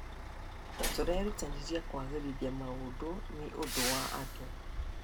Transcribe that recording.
Tũrerutanĩria kũagĩrithia maũndũ nĩ ũndũ wa andũ.